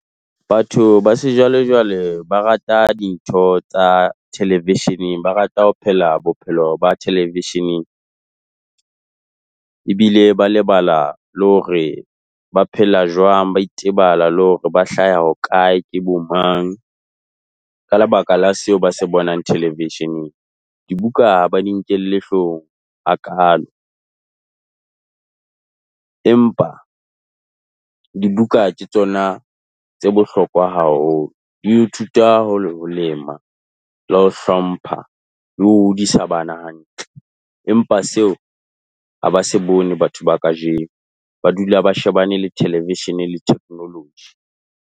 Batho ba sejwalejwale ba rata dintho tsa television-eng, ba rata ho phela bophelo ba television-eng. Ebile ba lebala le hore ba phela jwang, ba itebala le hore ba hlaha hokae, ke bomang, ka lebaka la seo ba se bonang television-eng. Dibuka ha ba di nkelle hloohong hakaalo empa dibuka ke tsona tse bohlokwa haholo. o dio thuta ho lema le ho hlompha le ho hodisa bana hantle. Empa seo ha ba se bone batho ba kajeno. Ba dula ba shebane le television le technology.